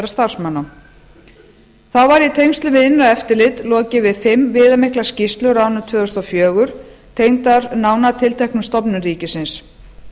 starfsmanna þá var í tengslum við innra eftirlit lokið við fimm viðamiklar skýrslur á árinu tvö þúsund og fjögur tengdar nánar tilteknum stofnunum ríkisins